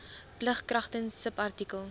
plig kragtens subartikel